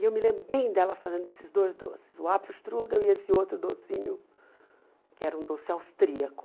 E eu me lembro bem dela fazendo esses dois doces, o apple strudel e esse outro docinho, que era um doce austríaco.